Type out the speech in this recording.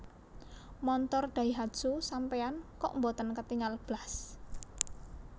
Montor Daihatsu sampean kok mboten ketingal blas?